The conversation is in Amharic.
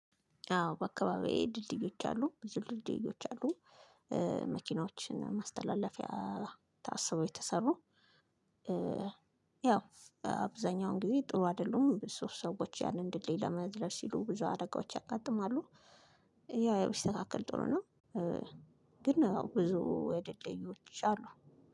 አዎ በአከባብዬ ድልድዮች አሉ ብዙ ድልድዮች አሉ። መኪናዎችን ማስተላለፊያ ታስቦ የተሰሩ። ያው አብዛኛውን ጊዜ ጥሩ አይደሉም ብዙ ሰዎች ያንን ድልድል ለመዝለል ሲሉ ብዙ አደጋዎች ያጋጥማሉ። ያ ያው ቢስተካከል ጥሩ ነው። ግን ብዙ ድልድዮች አሉ።